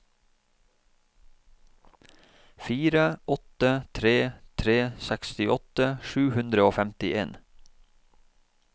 fire åtte tre tre sekstiåtte sju hundre og femtien